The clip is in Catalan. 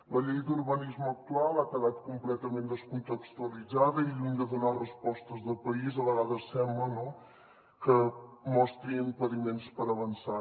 la llei d’urbanisme actual ha quedat completament descontextualitzada i lluny de donar respostes de país a vegades sembla que mostri impediments per avançar